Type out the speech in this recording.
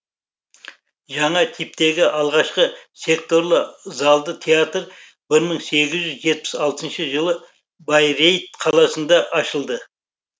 жаңа типтегі алғашқы секторлы залды театр бір мың сегіз жүз жетпіс алтыншы жылы байрейт қаласында ашылды